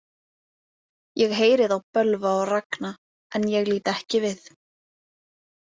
Ég heyri þá bölva og ragna en ég lít ekki við.